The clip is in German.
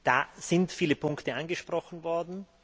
Da sind viele Punkte angesprochen worden.